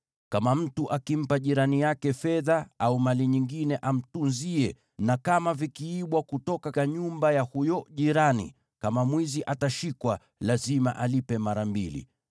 “Kama mtu akimpa jirani yake fedha au mali nyingine amtunzie, na kama vikiibwa kutoka nyumba ya huyo jirani, kama mwizi atashikwa, lazima alipe mara mbili.